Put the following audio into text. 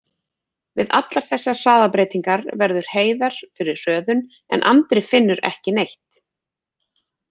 Við allar þessar hraðabreytingar verður Heiðar fyrir hröðun, en Andri finnur ekki neitt.